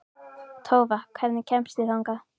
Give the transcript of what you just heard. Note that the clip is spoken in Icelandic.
Tófa, hvernig kemst ég þangað?